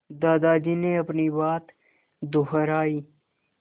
दादाजी ने अपनी बात दोहराई